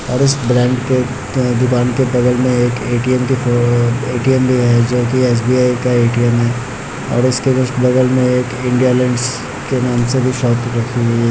और इस ब्रांड के दुकान के बगल में ए.टी.एम. दिख रहे हैं ए.टी.एम. भी है जो की एस.बी.आई. का भी ए.टी.एम. है और इसके कुछ बगल में एक इंडिया लैंड्स के नाम से शॉप रखी हुई है।